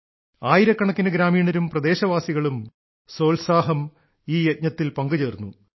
ആയിരക്കണക്കിന് ഗ്രാമീണരും പ്രദേശവാസികളും സോത്സാഹം ഈ യജ്ഞത്തിൽ പങ്കുചേർന്നു